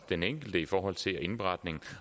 den enkelte i forhold til indberetning